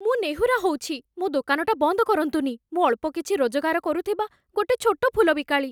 ମୁଁ ନେହୁରା ହଉଛି, ମୋ ଦୋକାନଟା ବନ୍ଦ କରନ୍ତୁନି । ମୁଁ ଅଳ୍ପ କିଛି ରୋଜଗାର କରୁଥିବା ଗୋଟେ ଛୋଟ ଫୁଲ ବିକାଳି ।